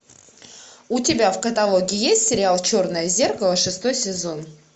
у тебя в каталоге есть сериал черное зеркало шестой сезон